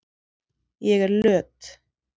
Ég er löt.